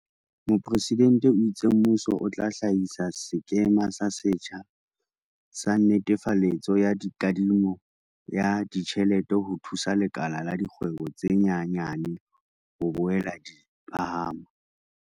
Mopresidente o itse mmuso o tla hlahisa sekema se setjha sa netefaletso ya kadimo ya ditjhelete ho thusa lekala la dikgwebo tse nyenyane ho boela di phahama.